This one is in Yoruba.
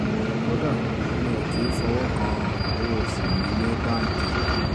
kódà mi ò kì í fọwọ́ kan owó-oṣù mi ní báńkì